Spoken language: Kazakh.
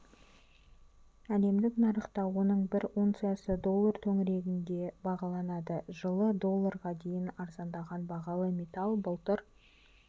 әлемдік нарықта оның бір унциясы доллар төңірегінде бағаланды жылы долларға дейін арзандаған бағалы металл былтыр